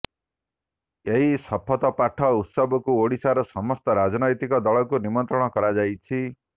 ଏହି ଶପଥ ପାଠ ଉତ୍ସବକୁ ଓଡ଼ିଶାର ସମସ୍ତ ରାଜନୈତିକ ଦଳକୁ ନିମନ୍ତ୍ରଣ କରାଯାଇଛି